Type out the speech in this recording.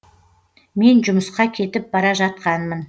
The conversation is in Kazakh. мен жұмысқа кетіп бара жатқанмын